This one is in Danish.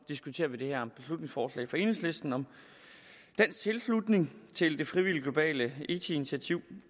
diskuterer vi det her beslutningsforslag fra enhedslisten om dansk tilslutning til det frivillige globale eiti initiativ